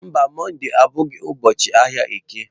Mba, Mọnde abụghị ụbọọchi ahịa eke.